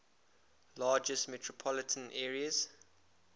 largest metropolitan areas